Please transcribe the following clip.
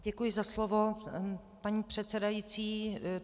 Děkuji za slovo, paní předsedající.